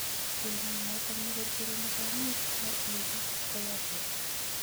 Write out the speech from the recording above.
Lildaet notok negergereni komuch kwai igas �koyaa borto